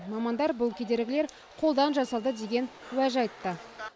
мамандар бұл кедергілер қолдан жасалды деген уәж айтты